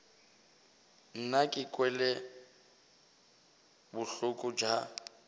nna ke kwele bohloko bja